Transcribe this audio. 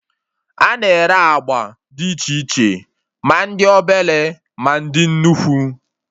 A na-ere agba dị iche iche, ma ndị obere, ma dị nnukwu